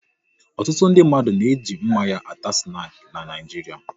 Ọtụtụ ndị mmadụ na eji mmanya ata snaki n'Naijiria